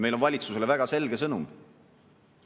Meil on valitsusele väga selge sõnum.